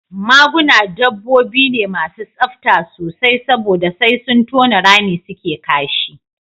Maguna dabbobi ne masu tsafta sosai saboda sai sun tona rami suke kashi